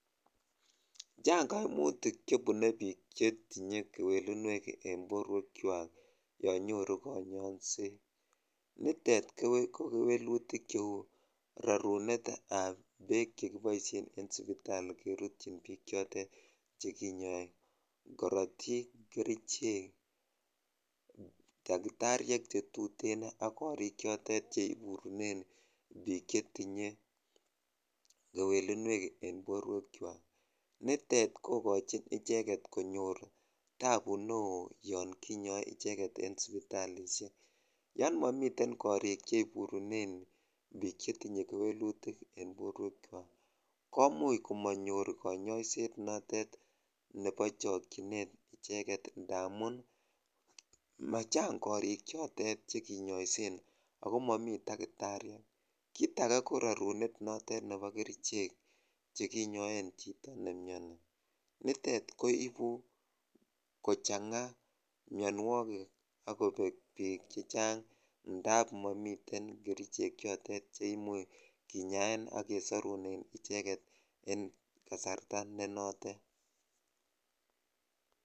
Chang koimutik chebune biik chetinye kewelinwek en borwekwak yoon nyoru konyoiset, nitet ko kewelutik cheu rorunetab beek chekiboishen en sipitali kerutyin biik chotet chekinyoe, korotik, kerichek, takitariek chetuten ak korik chotet cheburunen biik chetinye kewelinwek en borwekwak, nitet kokochin icheket konyor tabu neoo yoon kinyoe icheket en sipitalishek, yoon momiten korik cheiburunen biik chetinye kewelutik en borwekwak komuch komonyor konyoiset notet nebo chokyinet icheket ndamun machang korik chotet chekinyoisen ak ko momii takitariek, kiit akee ko rorunetab kerichek chekinyoen chito nemioni, nitet koibu kochanga mionwokik ak kobek biik chechang ndab momiten kerichek chotet cheimuch kinyaen ak kesorunen icheket en kasarta ne notote.